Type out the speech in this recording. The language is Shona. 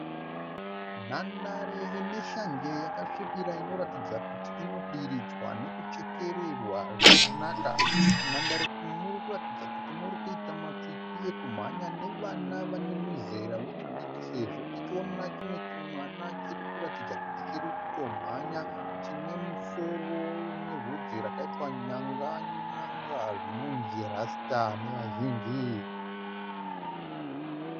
Nhandare ineshanje yakasvibira inoratidza kuti inodiridzwa nekuchekererwa zvakanaka. Munhandare umu murikuratidza kuti muri kuita makwikwi ekumhanya nevana vanemuzera wechidiki, sezvo tichiona chimwe chimwana chirikuratidza kuti chirikutomhanya chine musoro unevhudzi rakaitwa nyanga nyanga zvinonzii rasta nevazhinji.